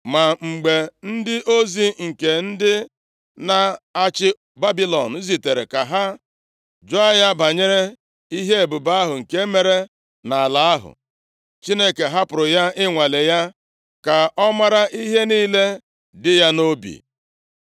Ma mgbe ndị ozi nke ndị na-achị Babilọn zitere ka ha jụọ ya banyere ihe ebube ahụ nke mere nʼala ahụ, Chineke hapụrụ ya i nwalee ya, ka ọ mara ihe niile dị ya nʼobi.